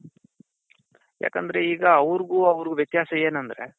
ಯಾಕಂದ್ರೆ ಈಗ ಅವರ್ಗು ಅವರ್ಗು ವ್ಯತ್ಯಾಸ ಏನಂದ್ರೆ.